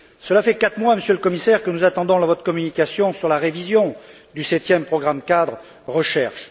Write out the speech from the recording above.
Cela fait quatre mois, Monsieur le Commissaire, que nous attendons votre communication sur la révision du septième programme cadre de recherche.